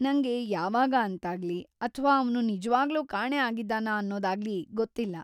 ನಂಗೆ ಯಾವಾಗ ಅಂತಾಗ್ಲಿ ಅಥ್ವಾ ಅವ್ನು ನಿಜ್ವಾಗ್ಲೂ ಕಾಣೆ ಆಗಿದ್ದಾನಾ ಅನ್ನೋದಾಗ್ಲಿ ಗೊತ್ತಿಲ್ಲ.